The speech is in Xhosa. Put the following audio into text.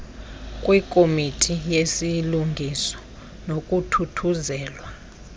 kwikomiti yezilungiso nokuthuthuzelwa